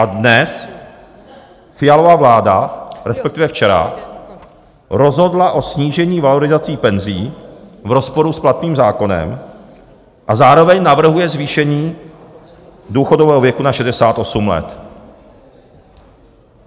A dnes Fialova vláda, respektive včera, rozhodla o snížení valorizací penzí v rozporu s platným zákonem a zároveň navrhuje zvýšení důchodového věku na 68 let.